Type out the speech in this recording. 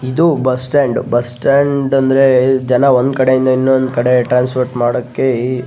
ಇದು bus stand bus stand ಅಂದ್ರೆ ಜನ ಒಂದು ಕಡೆಯಿಂದ ಇನ್ನೊಂದು ಕಡೆಗೆ ಟ್ರೇನ್ಸ್ಪೋರ್ಟ್ ಮಾಡೋಕೆ --